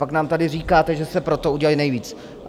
Pak nám tady říkáte, že jste pro to udělali nejvíc.